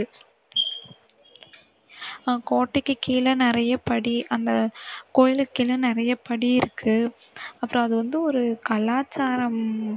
ஆஹ் கோட்டைக்கு கீழே நிறைய படி. அந்த கோவிலுக்கு கீழ நிறைய படி இருக்கு அப்பறம் அது வந்து ஒரு கலாச்சாரம்